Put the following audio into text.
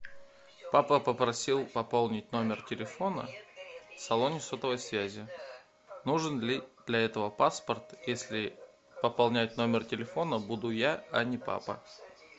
папа попросил пополнить номер телефона в салоне сотовой связи нужен ли для этого паспорт если пополнять номер телефона буду я а не папа